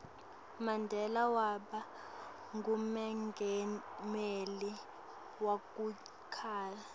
mandela waba ngumengameli weku cala